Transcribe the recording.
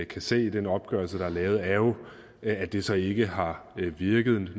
kan se i den opgørelse der er lavet er jo at det så ikke har virket